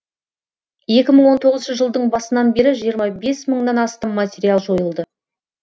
екі мың он тоғызыншы жылдың басынан бері жиырма бес мыңнан астам материал жойылды